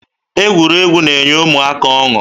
Egwuregwu na-enye ụmụaka ọṅụ